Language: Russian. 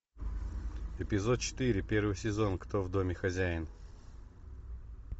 эпизод четыре первый сезон кто в доме хозяин